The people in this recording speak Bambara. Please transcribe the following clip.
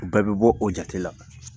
O bɛɛ bi bɔ, o jate la.